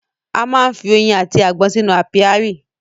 A má ń fi oyin àti agbọ́n sínú ápíárì